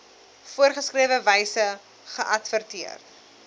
voorgeskrewe wyse geadverteer